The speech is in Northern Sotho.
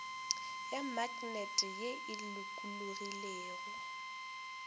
ya maknete ye e lokologilego